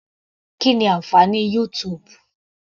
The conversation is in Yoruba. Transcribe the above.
Kí ni ànfàní YouTube.